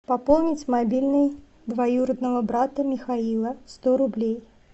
пополнить мобильный двоюродного брата михаила сто рублей